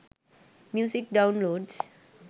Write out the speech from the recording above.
music downloads